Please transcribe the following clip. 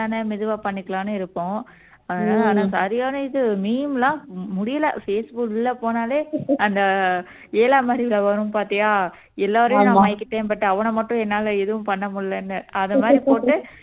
தானே மெதுவா பண்ணிக்கலாம்ன்னு இருக்கோம் அதனால ஆனா சரியான இது meme எல்லாம் முடியலை பேஸ்புக் உள்ள போனாலே அந்த ஏழாம் அறிவுல வரும் பாத்தியா எல்லாரையும் நான் மயக்கிட்டேன் but அவனை மட்டும் என்னால எதுவும் பண்ண முடியலைன்னு அதமாரி போட்டு